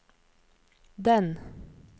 den